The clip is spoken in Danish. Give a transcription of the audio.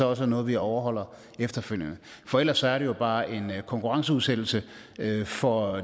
også er noget vi overholder efterfølgende for ellers er det jo bare en konkurrenceudsættelse for